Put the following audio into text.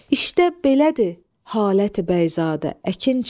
İşdə belədir, haləti bəyzadə, əkinçi.